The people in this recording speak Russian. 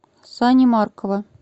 сани маркова